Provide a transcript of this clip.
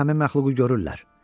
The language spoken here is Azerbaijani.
Burda həmin məxluqu görürlər.